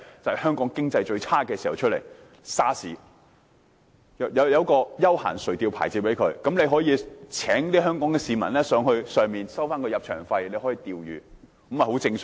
政府向養魚戶發出休閒垂釣牌照，可以讓香港市民上魚排釣魚，再收取入場費，這樣做也很正常。